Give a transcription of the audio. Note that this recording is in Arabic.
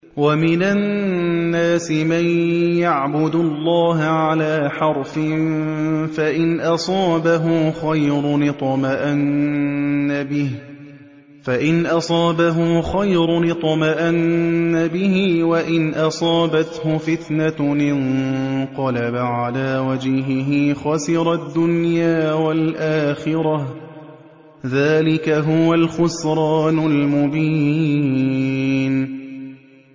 وَمِنَ النَّاسِ مَن يَعْبُدُ اللَّهَ عَلَىٰ حَرْفٍ ۖ فَإِنْ أَصَابَهُ خَيْرٌ اطْمَأَنَّ بِهِ ۖ وَإِنْ أَصَابَتْهُ فِتْنَةٌ انقَلَبَ عَلَىٰ وَجْهِهِ خَسِرَ الدُّنْيَا وَالْآخِرَةَ ۚ ذَٰلِكَ هُوَ الْخُسْرَانُ الْمُبِينُ